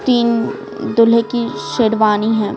तीन दुल्हे की शेडवानी है।